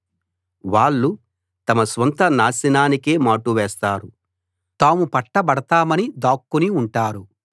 వాళ్ళు తమ స్వంత నాశనానికే మాటు వేస్తారు తాము పట్టబడతామని దాక్కుని ఉంటారు